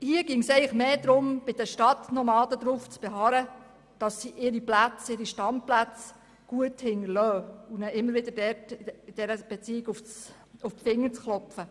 Hier ginge es eigentlich mehr darum, bei den Stadtnomaden darauf zu beharren, dass sie ihre Standplätze gut hinterlassen und ihnen diesbezüglich immer wieder auf die Finger zu klopfen.